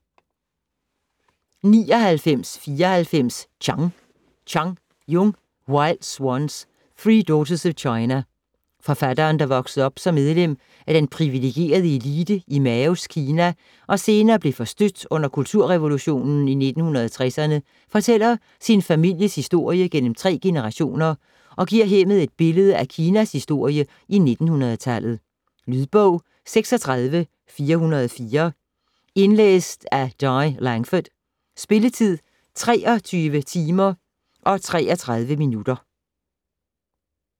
99.94 Chang Chang, Jung: Wild Swans: three daughters of China Forfatteren, der voksede op som medlem af den privilegerede elite i Maos Kina og senere blev forstødt under kulturrevolutionen i 1960'erne, fortæller sin families historie gennem tre generationer og giver hermed et billede af Kinas historie i 1900-tallet. Lydbog 36404 Indlæst af Di Langford. Spilletid: 23 timer, 33 minutter.